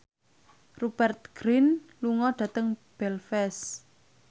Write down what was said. Rupert Grin lunga dhateng Belfast